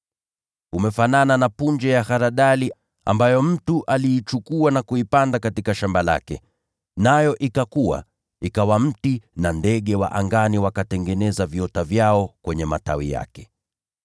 Umefanana na punje ya haradali ambayo mtu aliichukua na kuipanda katika shamba lake. Nayo ikakua, ikawa mti nao ndege wa angani wakatengeneza viota vyao kwenye matawi yake.”